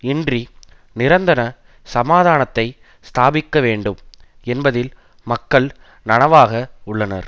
இன்றி நிரந்தன சமாதானத்தை ஸ்தாபிக்க வேண்டும் என்பதில் மக்கள் நனவாக உள்ளனர்